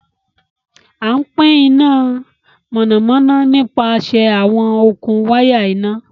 Àn pin iná mọ́nàmọ́nà nípasẹ̀ awọn okun wàya iná.